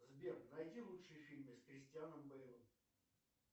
сбер найди лучшие фильмы с кристианом бейлом